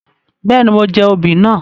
Béèni, mo jẹ oobì náà